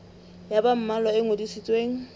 ya ba mmalwa e ngodisitsweng